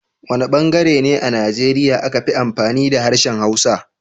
Wana bangare ne a Nigeria aka fi amfani da harshen Hausa?